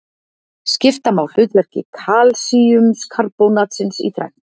Skipta má hlutverki kalsíumkarbónatsins í þrennt.